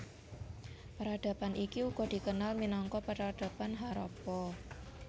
Peradaban iki uga dikenal minangka Peradaban Harappa